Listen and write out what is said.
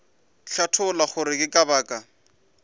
hlatholla gore ke ka baka